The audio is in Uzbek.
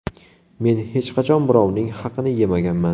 Men hech qachon birovning haqini yemaganman.